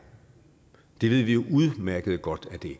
det ved vi jo udmærket godt at det